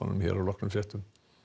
hér að loknum fréttum